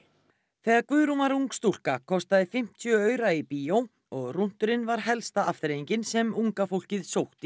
þegar Guðrún var ung stúlka kostaði fimmtíu aura í bíó og rúnturinn var helsta afþreyingin sem unga fólkið sótti